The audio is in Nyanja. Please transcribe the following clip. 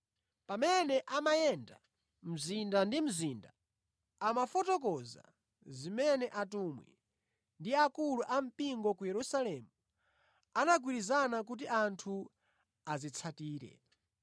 Pamene amayenda mzinda ndi mzinda, amafotokoza zimene atumwi ndi akulu ampingo ku Yerusalemu anagwirizana kuti anthu azitsatire.